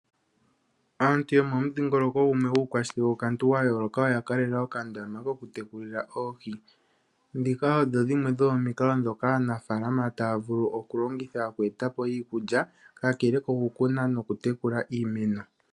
Aantu yomomudhingoloko gumwe yuukashikekookantu wa yooloka oya kalela okandama kokutekulila oohi. Ndhika odho dhimwe dhomomikalo ndhoka aanafaalama taya vulu okulongitha oku e ta po iikulya kakele kokutekula nokukuna iimeno.